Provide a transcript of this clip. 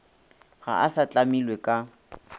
ga a sa tlamilwe ka